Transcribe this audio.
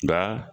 Nka